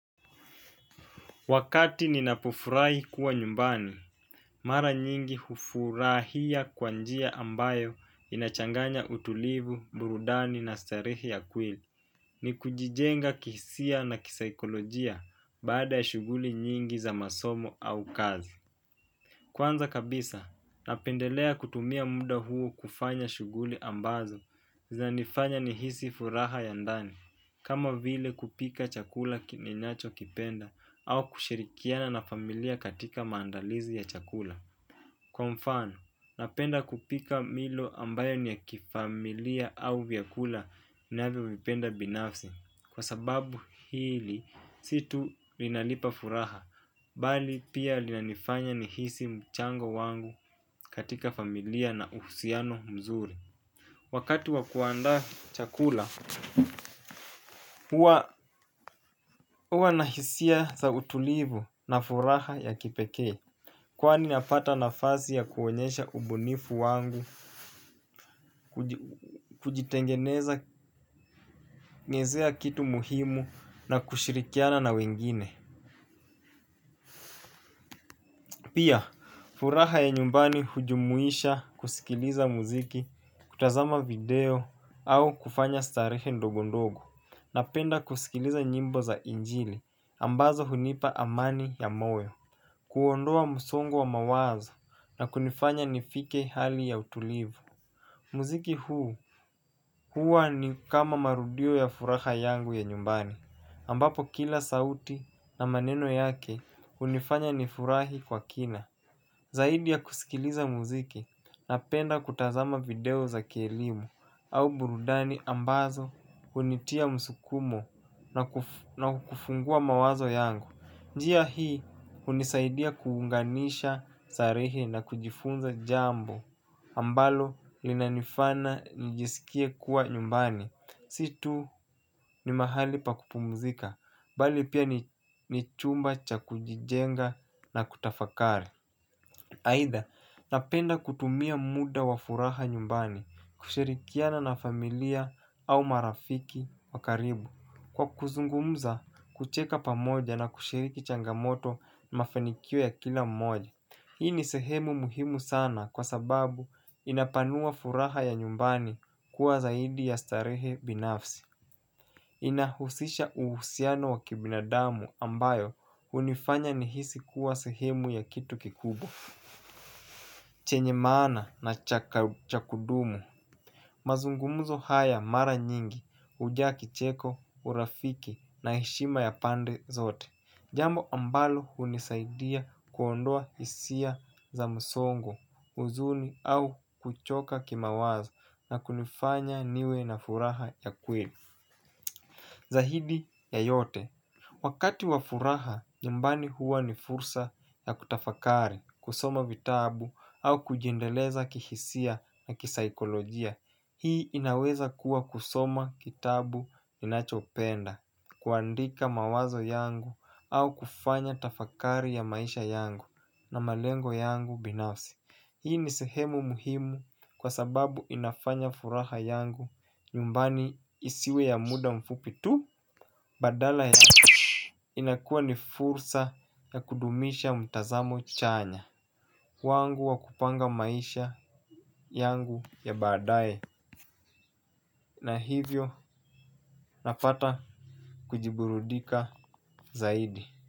Wakati ninapofurai kuwa nyumbani, mara nyingi hufurahia kwanjia ambayo inachanganya utulivu, burudani na starihi ya kweli. Ni kujijenga kihisia na kisaikolojia baada ya shuguli nyingi za masomo au kazi. Kwanza kabisa napendelea kutumia mda huo kufanya shughuli ambazo zinanifanya nihisi furaha ya ndani kama vile kupika chakula ninachokipenda au kushirikiana na familia katika maadalizi ya chakula kwa mfano napenda kupika milo ambayo ni ya kifamilia au vyakula ninavyovipenda binafsi kwa sababu hili, situ linalipa furaha. Bali pia lina nifanya nihisi mchango wangu katika familia na uhusiano mzuri. Wakati wakuandaa chakula, huwa nahisia za utulivu na furaha ya kipekee. Kwani nafata nafasi ya kuonyesha ubunifu wangu kujitengeneza ngezea kitu muhimu na kushirikiana na wengine. Pia furaha ya nyumbani hujumuisha kuskiliza muziki, kutazama video au kufanya starehe ndogo ndogo. Napenda kuskiliza nyimbo za injili ambazo hunipa amani ya moyo. Kuondoa msongo wa mawaza na kunifanya nifike hali ya utulivu. Muziki huu huwa ni kama marudio ya furaha yangu ya nyumbani ambapo kila sauti na maneno yake unifanya nifurahi kwa kina. Zaidi ya kuskiliza muziki na penda kutazama video za kielimu au burudani ambazo unitia msukumo na kufungua mawazo yangu. Njia hii unisaidia kuunganisha sarehe na kujifunza jambo ambalo linanifana nijisikie kuwa nyumbani. Situ ni mahali pakupumzika, bali pia nichumba cha kujijenga na kutafakari. Haitha, napenda kutumia muda wafuraha nyumbani, kushirikiana na familia au marafiki wakaribu. Kwa kuzungumza kucheka pamoja na kushiriki changamoto na mafanikio ya kila mmoja. Hii ni sehemu muhimu sana kwa sababu inapanua furaha ya nyumbani kuwa zaidi ya starehe binafsi inahususha uhusiano wa kibinadamu ambayo hunifanya nihisi kuwa sehemu ya kitu kikubwa chenye maana na cha kudumu. Mazungumuzo haya mara nyingi ujaa kicheko, urafiki na heshima ya pande zote. Jambo ambalo unisaidia kuondoa hisia za musongo, uzuni au kuchoka kima wazo na kunifanya niwe na furaha ya kweli. Zahidi ya yote wakati wa furaha, nyumbani huwa ni fursa ya kutafakari, kusoma vitabu au kujiendeleza kihisia na kisaikolojia. Hii inaweza kuwa kusoma kitabu inachopenda. Kuandika mawazo yangu au kufanya tafakari ya maisha yangu na malengo yangu binafsi. Hii ni sehemu muhimu kwa sababu inafanya furaha yangu nyumbani isiwe ya muda mfupitu badala ya inakuwa ni fursa ya kudumisha mtazamo chanya wangu wa kupanga maisha yangu ya baadaye na hivyo nafata kujiburudika zaidi.